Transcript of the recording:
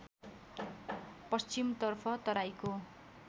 पश्चिमतर्फ तराईको